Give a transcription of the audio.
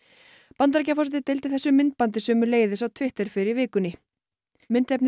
Bandaríkjaforseti deildi þessu myndbandi sömuleiðis á Twitter fyrr í vikunni myndefnið